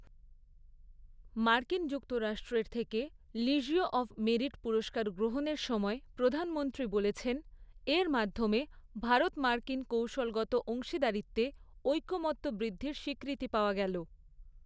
মার্কিন যুক্তরাষ্ট্রের থেকে লিজিয়ঁ অব মেরিট পুরস্কার গ্রহণের সময় প্রধানমন্ত্রী বলেছেন, এর মাধ্যমে ভারত মার্কিন কৌশলগত অংশীদারীত্বে ঐক্যমত্য বৃদ্ধির স্বীকৃতি পাওয়া গেল।